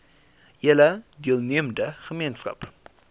hele deelnemende gemeenskap